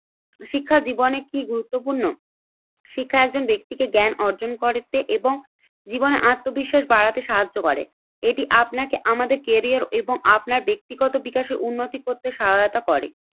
শিক্ষাজীবনে কি গুরুত্বপূর্ণ? শিক্ষার একজন ব্যক্তিকে জ্ঞান অর্জন করতে এবং জীবনে আত্মবিশ্বাস বাড়াতে সাহায্য করে। এটি আপনাকে আমাদের কেরিয়ার এবং আপনার ব্যক্তিগত বিকাশের উন্নতি করতে সহায়তা করে।